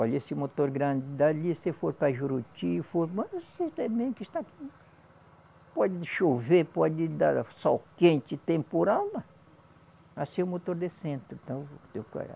Olha esse motor grande dali, se for para Juruti, pode chover, pode dar sol quente, temporal lá, assim o motor de centro.